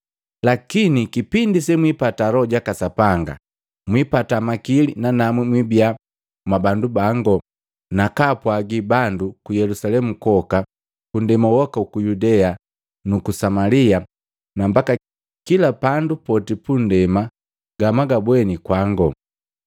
Lakini kipindi se mwipata Loho jaka Sapanga, mwipata makili nanamu mwibia mwa bandu bangu bakaapwagi bandu ku Yelusalemu kwoka, ku ndema joka juku Yudea nuku Samalia, na mbaka kila pandu poti pu ndema gamwagabweni kwangu.”